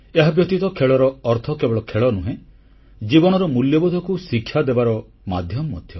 ଏହାବ୍ୟତୀତ ଖେଳର ଅର୍ଥ କେବଳ ଖେଳ ନୁହେଁ ଜୀବନର ମୂଲ୍ୟବୋଧକୁ ଶିକ୍ଷା ଦେବାର ମାଧ୍ୟମ ମଧ୍ୟ